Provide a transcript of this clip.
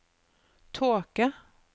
tåke